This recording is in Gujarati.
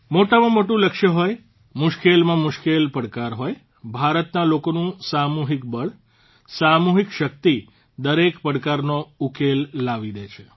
મોટામાં મોટું લક્ષ્ય હોય મુશ્કેલમાં મુશ્કેલ પડકાર હોય ભારતના લોકોનું સામૂહિક બળ સામૂહિક શક્તિ દરેક પડકારનો ઉકેલ લાવી દે છે